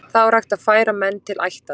Þá er hægt að færa menn til ættar.